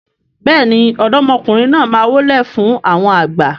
béèni ọ̀dọ́mọkùnrin náà má wólẹ̀ fún àwọn àgbà.